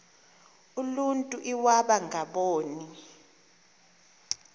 uluntu iwaba ngaboni